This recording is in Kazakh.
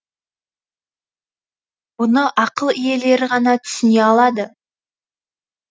бұны ақыл иелері ғана түсіне алады